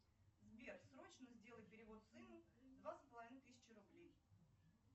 сбер срочно сделай перевод сыну две с половиной тысячи рублей